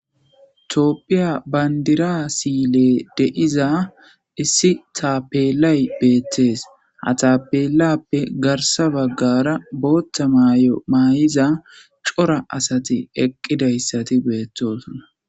Topphiya bayndira siile deiza issi taapelay beettees ha taapelappe garsa baggara booththa mayo maay7iza cora asati eqqidayssati beettosna.